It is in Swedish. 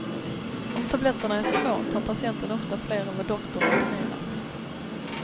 Om tabletterna är små, tar patienten ofta flera än vad doktorn ordinerat.